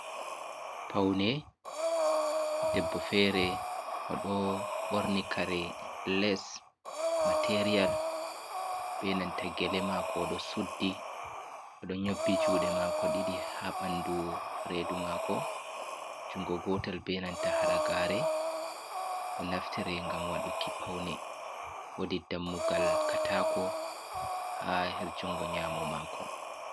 Paune debbo fere o ɗo borni kare les, materiyal be nanta gele mako ɗo suddi o ɗo nyobbi juɗe mako ɗiɗi ha ɓandu redu mako jungo gotal be nanta halagare ɗo naftire gam waɗuki paune wodi dammugal katako ha ha jungo nyamo mako.